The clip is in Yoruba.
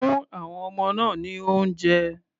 Fún àwon ọmọ náà ní oúnjẹ.